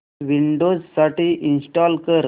Windows साठी install कर